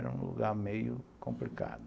Era um lugar meio complicado.